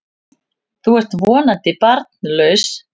Þú ert þó vonandi barnlaus?